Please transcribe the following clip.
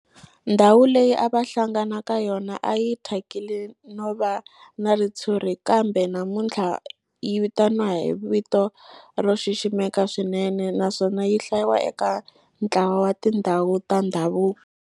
Ndhawu leyi a va hlangana ka yona a yi thyakile no va na ritshuri kambe namuntlha yi vitaniwa hi vito ro xiximeka swinene naswona yi hlayiwa eka ntlawa wa tindhawu ta ndhavuko.